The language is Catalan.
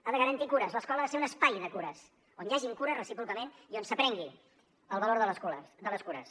ha de garantir cures l’escola ha de ser un espai de cures on hi hagin cures recíprocament i on s’aprengui el valor de l’escola de les cures